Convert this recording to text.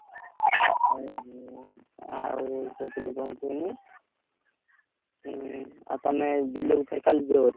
ଆଉ କଣ କହୁଥିଲୁ କୁହନି ଆଉ ତମେ ବିଲକୁ ଫେରେ କଲି ଯିବ?